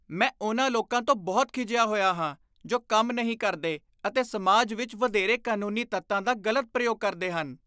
ਮੈਂ ਉਨ੍ਹਾਂ ਲੋਕਾਂ ਤੋਂ ਬਹੁਤ ਖਿਝਿਆ ਹੋਇਆ ਹਾਂ ਜੋ ਕੰਮ ਨਹੀਂ ਕਰਦੇ ਅਤੇ ਸਮਾਜ ਵਿੱਚ ਵਧੇਰੇ ਕਾਨੂੰਨੀ ਤੱਤਾਂ ਦਾ ਗ਼ਲਤ ਪ੍ਰਯੋਗ ਕਰਦੇ ਹਨ।